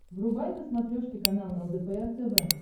врубай на смотрешке канал лдпр тв